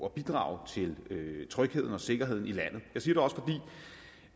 at bidrage til trygheden og sikkerheden i landet